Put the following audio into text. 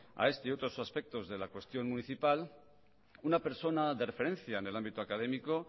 a este y otros aspectos de la cuestión municipal una persona de referencia en el ámbito académico